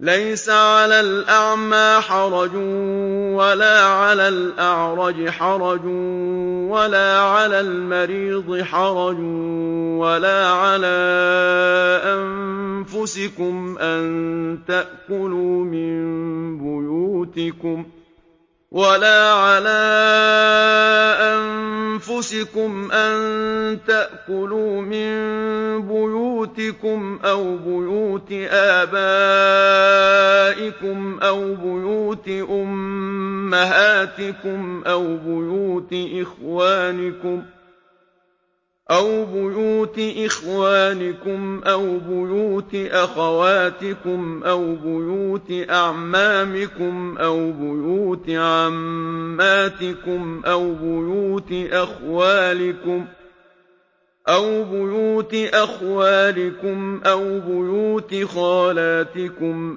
لَّيْسَ عَلَى الْأَعْمَىٰ حَرَجٌ وَلَا عَلَى الْأَعْرَجِ حَرَجٌ وَلَا عَلَى الْمَرِيضِ حَرَجٌ وَلَا عَلَىٰ أَنفُسِكُمْ أَن تَأْكُلُوا مِن بُيُوتِكُمْ أَوْ بُيُوتِ آبَائِكُمْ أَوْ بُيُوتِ أُمَّهَاتِكُمْ أَوْ بُيُوتِ إِخْوَانِكُمْ أَوْ بُيُوتِ أَخَوَاتِكُمْ أَوْ بُيُوتِ أَعْمَامِكُمْ أَوْ بُيُوتِ عَمَّاتِكُمْ أَوْ بُيُوتِ أَخْوَالِكُمْ أَوْ بُيُوتِ خَالَاتِكُمْ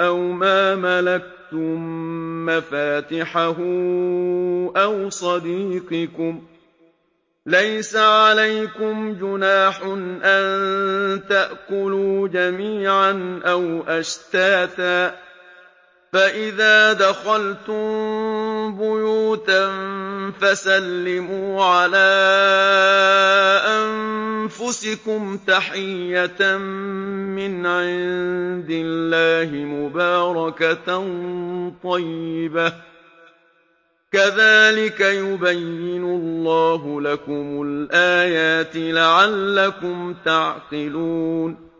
أَوْ مَا مَلَكْتُم مَّفَاتِحَهُ أَوْ صَدِيقِكُمْ ۚ لَيْسَ عَلَيْكُمْ جُنَاحٌ أَن تَأْكُلُوا جَمِيعًا أَوْ أَشْتَاتًا ۚ فَإِذَا دَخَلْتُم بُيُوتًا فَسَلِّمُوا عَلَىٰ أَنفُسِكُمْ تَحِيَّةً مِّنْ عِندِ اللَّهِ مُبَارَكَةً طَيِّبَةً ۚ كَذَٰلِكَ يُبَيِّنُ اللَّهُ لَكُمُ الْآيَاتِ لَعَلَّكُمْ تَعْقِلُونَ